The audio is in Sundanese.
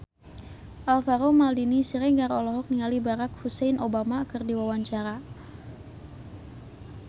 Alvaro Maldini Siregar olohok ningali Barack Hussein Obama keur diwawancara